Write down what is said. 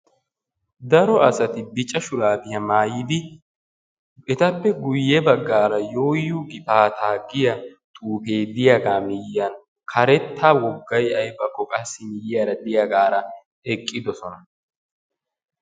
Daro asay adl'ee ciishsha shurabbiya maayiddi ettappe guye bagan yoo yoo gifaata giya xuufiya matan eqqidosonna.